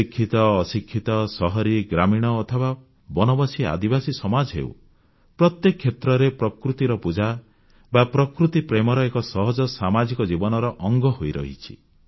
ଶିକ୍ଷିତ ଅଶିକ୍ଷିତ ସହରୀ ଗ୍ରାମୀଣ ଅଥବା ବନବାସୀ ଆଦିବାସୀସମାଜ ହେଉ ପ୍ରତ୍ୟେକ କ୍ଷେତ୍ରରେ ପ୍ରକୃତିର ପୂଜା ବା ପ୍ରକୃତି ପ୍ରେମ ଏକ ସହଜ ସାମାଜିକ ଜୀବନର ଅଙ୍ଗ ହୋଇରହିଛି